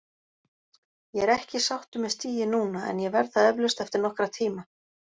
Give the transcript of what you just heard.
Ég er ekki sáttur með stigið núna en ég verð það eflaust eftir nokkra tíma.